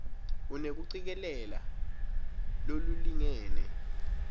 unekucikelela lolulingene